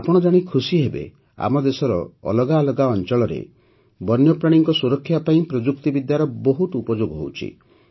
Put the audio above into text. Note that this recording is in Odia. ଆପଣ ଜାଣି ଖୁସିହେବେ ଯେ ଆମ ଦେଶର ଅଲଗା ଅଲଗା ଅଞ୍ଚଳରେ ବନ୍ୟପ୍ରାଣୀଙ୍କର ସୁରକ୍ଷା ପାଇଁ ପ୍ରଯୁକ୍ତିବିଦ୍ୟାର ବହୁତ ଉପଯୋଗ ହେଉଛି